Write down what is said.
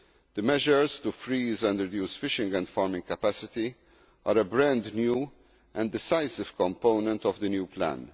The measures to freeze and reduce fishing and farming capacity are a brand new and decisive component of the new plan.